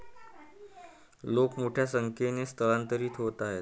लोक मोठ्या संख्येने स्थलांतरित होत आहेत.